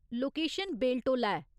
Location Beltola ऐ।